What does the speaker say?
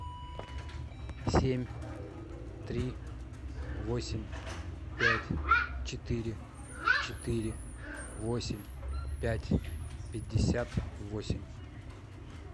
семь три восемь пять четыре четыре восемь пять пятьдесят восемь